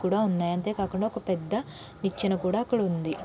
కూడా ఉన్నాయ్. అంతే కాకుండా నిచ్చెన కూడా అక్కడ ఉంది.